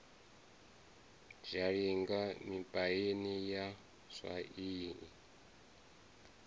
zhalinga mipaini ya swa i